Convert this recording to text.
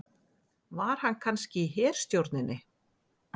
Var hann kannski í herstjórninni?